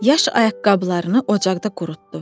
Yaş ayaqqabılarını ocaqda qurutdu.